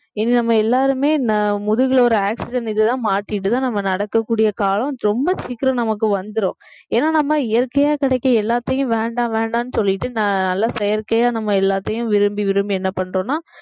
இனி நம்ம எல்லாருமே முதுகுல ஒரு oxygen இதுதான் மாட்டிட்டுதான் நம்ம நடக்கக்கூடிய காலம் ரொம்ப சீக்கிரம் நமக்கு வந்துரும் ஏன்னா நம்ம இயற்கையா கிடைக்கிற எல்லாத்தையும் வேண்டாம் வேண்டாம்னு சொல்லிட்டு நான் நல்லா செயற்கையா நம்ம எல்லாத்தையும் விரும்பி விரும்பி என்ன பண்றோம்னா